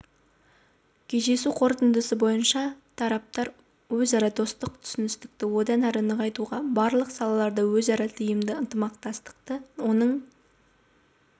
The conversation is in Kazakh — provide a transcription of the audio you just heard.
кездесу қорытындысы бойынша тараптар өзара достық түсіністікті одан әрі нығайтуға барлық салаларда өзара тиімді ынтымақтастықты оның